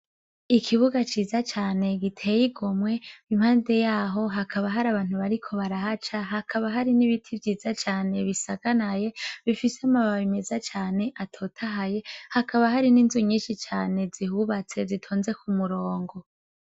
Ikibuga ciza cane giteye igomwe impande yaho hakaba hari abantu bariko barahaca hakaba hari n'ibiti vyiza cane bisakanaye bifise amababi meza cane atotahaye hakaba hari n'inzu nyishi cane zihubatse zitonze ku murongo.